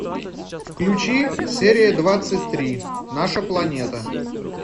включи серия двадцать три наша планета